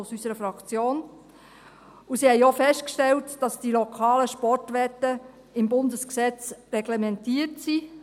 Und sie haben auch festgestellt, dass die lokalen Sportwetten im Bundesgesetz reglementiert sind.